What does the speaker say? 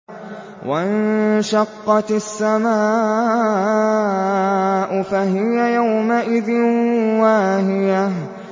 وَانشَقَّتِ السَّمَاءُ فَهِيَ يَوْمَئِذٍ وَاهِيَةٌ